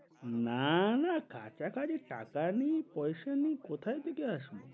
না না কাছাকাছি টাকা নেই পয়সা নেই কোথায় থেকে আসব।